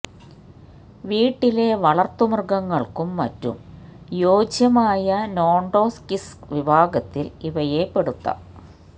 വീട്ടിലെ വളര്ത്തുമൃഗങ്ങള്ക്കും മറ്റും യോജ്യമായ നോണ്ടോക്സിക് വിഭാഗത്തില് ഇവയെ പെടുത്താം